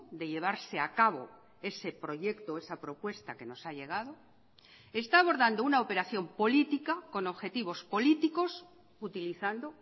de llevarse a cabo ese proyecto esa propuesta que nos ha llegado está abordando una operación política con objetivos políticos utilizando